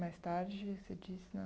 Mais tarde, você disse, né?